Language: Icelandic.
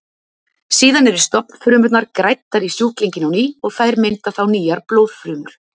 Síðan eru stofnfrumurnar græddar í sjúklinginn á ný og þær mynda þá nýjar blóðfrumur.